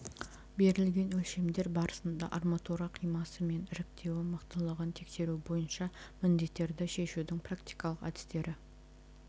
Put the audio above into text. берілген өлшемдер барысында арматура қимасы мен іріктеуі мықтылығын тексеру бойынша міндеттерді шешудің практикалық әдістері